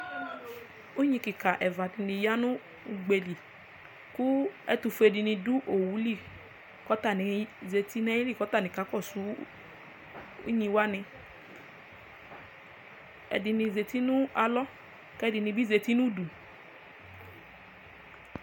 unyi keka ɛfua di ni ya n'ugbe di li kò ɛtofue di ni do owu li k'atani zati n'ayili k'atani kakɔsu unyi wani ɛdini zati no alɔ k'ɛdini zati n'udu